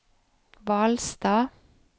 Hvalstad